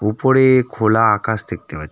ওপরে খোলা আকাশ দেখতে পা--